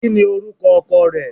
Kini oruko oko re?